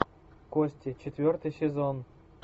кости четвертый сезон